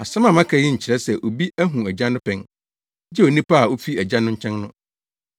Asɛm a maka yi nkyerɛ sɛ obi ahu Agya no pɛn, gye onipa a ofi Agya no nkyɛn no.